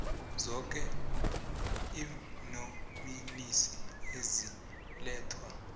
zoke iinonisi ezilethwa